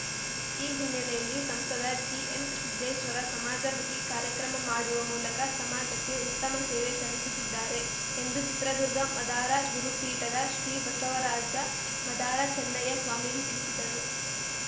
ಈ ಹಿನ್ನಲೆಯಲ್ಲಿ ಸಂಸದ ಜಿಎಂಸಿದ್ದೇಶ್ವರ ಸಮಾಜಮುಖಿ ಕಾರ್ಯಕ್ರಮ ಮಾಡುವ ಮೂಲಕ ಸಮಾಜಕ್ಕೆ ಉತ್ತಮ ಸೇವೆ ಸಲ್ಲಿಸುತ್ತಿದ್ದಾರೆ ಎಂದು ಚಿತ್ರದುರ್ಗ ಮದಾರ ಗುರುಪೀಠದ ಶ್ರೀ ಬಸವರಾಜ ಮದಾರ ಚನ್ನಯ್ಯ ಸ್ವಾಮೀಜಿ ತಿಳಿಸಿದರು